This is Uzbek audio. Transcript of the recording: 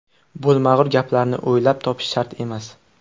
Bo‘lmag‘ur gaplarni o‘ylab topish shart emas.